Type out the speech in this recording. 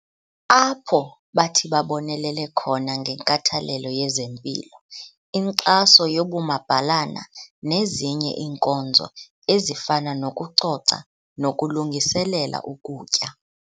Apho bathi babonelele khona ngenkathalelo yezempilo, inkxaso yobumabhalana nezinye iinkonzo ezifana nokucoca nokulungiselela ukutya.